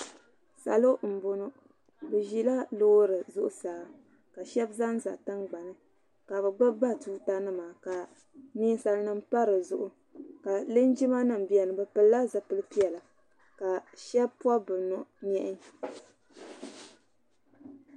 salo n bɔnu be ʒɛla lori zuɣ' saa ka shɛbi zan za tiŋ gbani ka be gbabi batuta nima ninsalinim pa di zuɣ ka linjima nim bɛni be piɛla zipɛli piɛla ka shɛbi pobibi nyɛhi